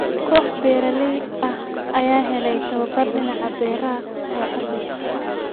Koox beeralay ah ayaa helay tababar dhinaca beeraha ah oo casri ah.